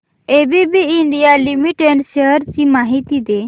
ABB India limited shares ची माहिती दे